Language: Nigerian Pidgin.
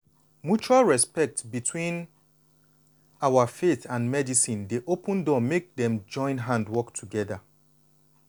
mutual respect between our faith and medicine dey open door make dem join hand work together.